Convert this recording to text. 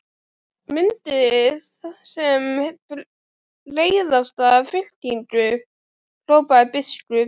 Myndið sem breiðasta fylkingu, hrópaði biskup.